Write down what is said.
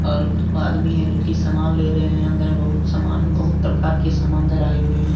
और आदमी हैं जो कि सामान ले रहे हैं अंदर में बहुत सामान बहुत प्रकार के सामान अंदर आए हुए हैं।